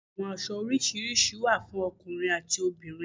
Àwọn aṣọ orisirisi wa fún ọkùnrin ati obìnrin